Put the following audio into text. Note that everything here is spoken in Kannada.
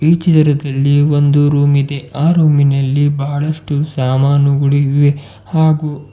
ಈ ಚಿತ್ರದಲ್ಲಿ ಒಂದು ರೂಮ್ ಇದೆ ಆ ರೂಮ್ ಇನಲ್ಲಿ ಬಹಳಷ್ಟು ಸಾಮಾನುಗಳು ಇವೆ ಹಾಗೂ --